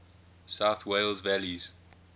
south wales valleys